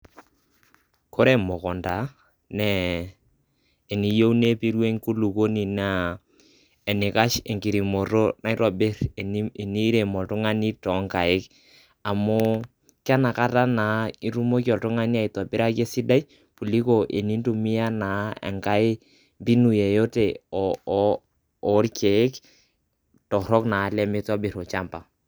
ore emukunta naa eniyieu nepiru enkulupuoni naa enikash enkirimoto naitobir tenirem oltungani too nkaik amu kenakata naa itumoki oltungani aitobiraki esidai kuliko tenitumia naa enkae mbinu yeyote ooriek torok naa lemitobir olchamba